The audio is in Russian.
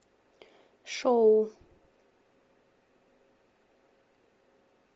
шоу